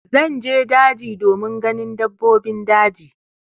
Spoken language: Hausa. Zan je daji domin ganin dabbobin daji.